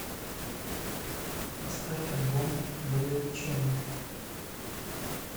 поставь альбом блю ченел